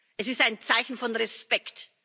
Es ist ein Zeichen von Respekt,